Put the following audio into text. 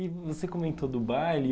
E você comentou do baile.